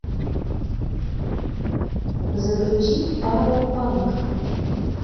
загрузи паропанк